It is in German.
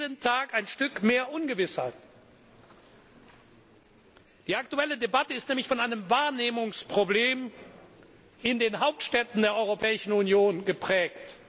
Jeden Tag ein Stück mehr Ungewissheit! Die aktuelle Debatte ist nämlich von einem Wahrnehmungsproblem in den Hauptstädten der Europäischen Union geprägt.